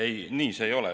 Ei, nii see ei ole.